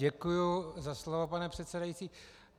Děkuji za slovo, pane předsedající.